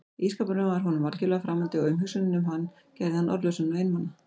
Ísskápurinn var honum algjörlega framandi og umhugsunin um hann gerði hann orðlausan og einmana.